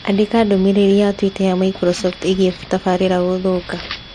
Andĩka ndũmĩrĩri ya twitter ya Microsoft ĩgiĩ tabarīra kũthũka.